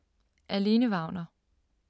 Af Lene Wagner